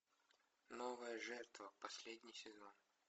новая жертва последний сезон